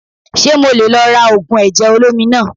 Ṣé mo leè lò lára ògùn ẹ̀jẹ̀ olómi naa